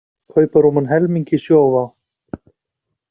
Kaupa rúman helming í Sjóvá